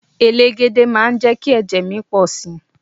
Elégède máa jẹ́ kí ẹ̀jẹ̀ mi pọ̀ si.